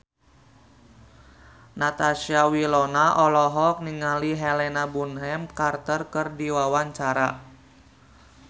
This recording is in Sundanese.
Natasha Wilona olohok ningali Helena Bonham Carter keur diwawancara